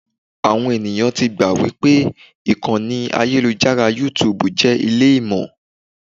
Àwọn ẹ̀yàn ti gbà wípé ìkànnì ayélujára YouTube jẹ́ ilé Ìmọ̀.